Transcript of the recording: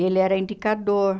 Ele era indicador.